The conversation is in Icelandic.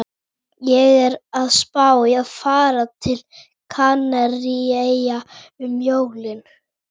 Ég er að spá í að fara til Kanaríeyja um jólin